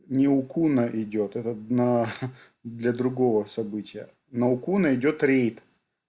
не укуна идёт этот на для другого события на укуну идёт рейд